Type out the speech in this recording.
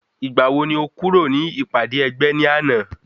Ìgbàwo ni o kúrò ní ìpàdé ẹgbẹ́ ní àná?